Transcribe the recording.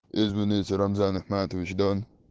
извините рамзан ахматович дон